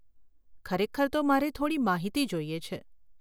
ખરેખર તો મારે થોડી માહિતી જોઈએ છે.